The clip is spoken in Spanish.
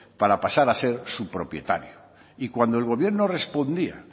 para pasar a ser su propietario y cuando el gobierno respondía